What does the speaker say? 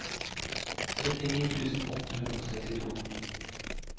syttini tusen åtte hundre og syttito